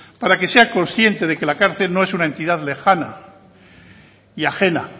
para que sea consciente de que la cárcel no es una entidad lejana y ajena